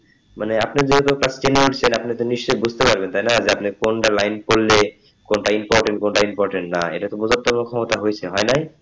মানে যেগুলো চারটি note সেই আপনি নিশ্চই বুঝতে পারবেন তাইনা কোনটা line পড়লে কোনটা important কোনটা important না এটা তো বোঝার ক্ষমতা হয়েছে হয় নাই,